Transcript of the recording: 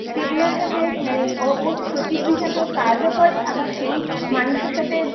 সেগুলোর সাথে মানে ও সচিব হিসেবে কাজও করে আবার সেই মানুষের সাথে